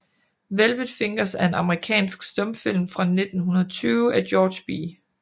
Velvet Fingers er en amerikansk stumfilm fra 1920 af George B